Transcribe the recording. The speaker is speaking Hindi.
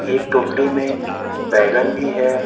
एक टोकरी में बैगन भी है।